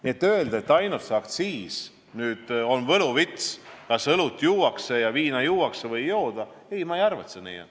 Nii et öelda, et ainult aktsiis on võluvits selles asjas, kas õlut ja viina juuakse või ei jooda, ei ole minu arvates õige.